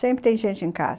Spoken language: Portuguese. Sempre tem gente em casa.